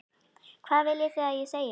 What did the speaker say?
Hvað viljið þið að ég segi?